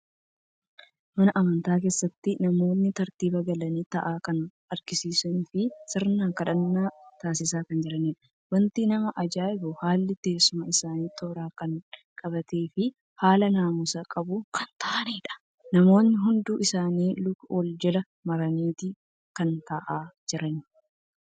Mana amantaa keessatti namoota tartiiba galanii taa'an kan agarsiisu fi sirna kadhannaa taasisaa kan jiraniidha. Wanti nama ajaa'ibu haalli teessuma isaanii toora kan qabatee fi haala naamusa qabuun kan taa'aniidha. Namootni hundi isaanii luka wal jala maraniiti kan taa'aa jiran.